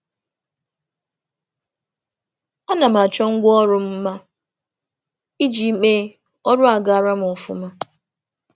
A A na m achọ akụrụngwa m mma iji mee ka imecha kwa ụbọchị dị m ụtọ na um nke m.